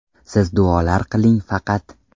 Siz duolar qiling faqat”.